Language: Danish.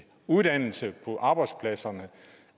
uddannelse på arbejdspladserne